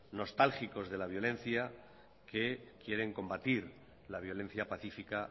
nostálgicos de la violencia que quieren combatir la violencia pacífica